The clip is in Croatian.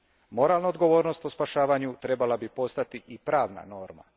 Moralna odgovornost u spašavanju trebala bi postati i pravna norma.